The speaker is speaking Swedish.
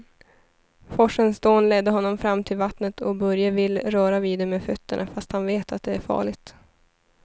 Forsens dån leder honom fram till vattnet och Börje vill röra vid det med fötterna, fast han vet att det är farligt.